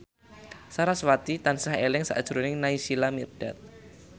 sarasvati tansah eling sakjroning Naysila Mirdad